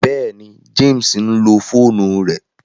Bẹẹni, James nlo foonu rẹ